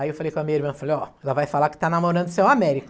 Aí eu falei com a minha irmã, falei ó, ela vai falar que está namorando seu Américo.